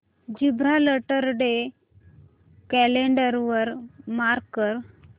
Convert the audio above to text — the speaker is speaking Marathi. जिब्राल्टर डे कॅलेंडर वर मार्क कर